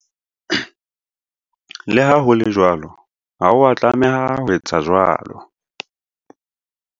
Le ha ho le jwalo, ha o a tlameha ho etsa jwalo.